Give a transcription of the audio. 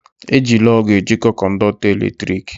Eji lọọgụ ejiko kọndọktọ eletrik